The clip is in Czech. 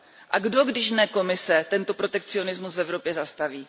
A kdo, když ne Komise, tento protekcionismus v Evropě zastaví?